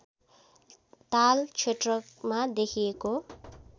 ताल क्षेत्रमा देखिएको